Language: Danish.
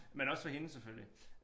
Men også for hende selvfølgelig